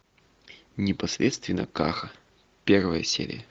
непосредственно каха первая серия